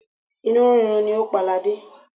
Inú rírun ni ó pa ladé.